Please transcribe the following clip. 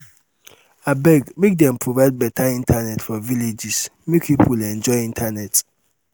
abeg make dem provide beta internet for villages make people enjoy internet.